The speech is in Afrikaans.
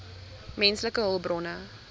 menslike hulpbronne